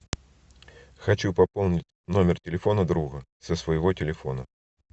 хочу пополнить номер телефона друга со своего телефона